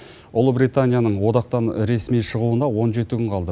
ұлыбританияның одақтан ресми шығуына он жеті күн қалды